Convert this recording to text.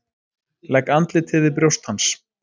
Legg andlitið við brjóst hans.